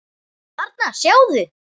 Þarna, sjáðu